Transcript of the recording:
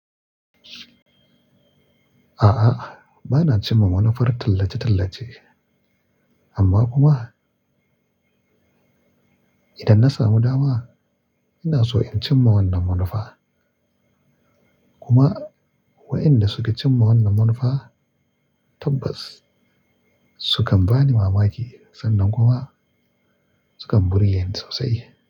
A'a, bana cin ma manufar tallace-tallace. Amma kuma idan na samu dama, ina so in cin ma wannan manufa. Kuma waɗanda suka cinma wannan manufa tabbas sukan bani mamaki sannan kuma sukan burge ni sosai.